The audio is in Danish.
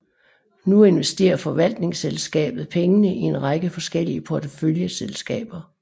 Nu investerer forvaltningsselskabet pengene i en række forskellige porteføljeselskaber